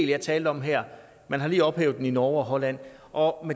jeg talte om her man har lige ophævet den i norge og holland og